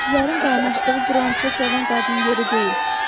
Kişilərin qaynaşdığı buranı çoğadan qadın yeri deyil.